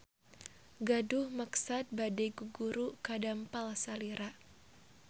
Gaduh maksad bade guguru ka dampal salira.